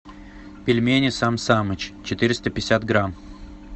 пельмени сам самыч четыреста пятьдесят грамм